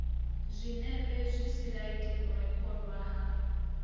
zwinepe zwisilaidi u rekhodwa ha